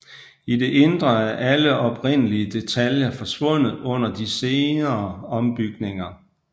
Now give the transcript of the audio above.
I det indre er alle oprindelige detaljer forsvundet under de senere ombygninger